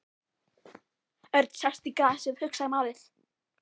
Örn settist í grasið og hugsaði málið.